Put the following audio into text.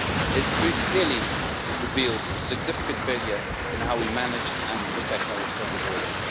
It clearly reveals a significant failure in how we manage and protect our external border.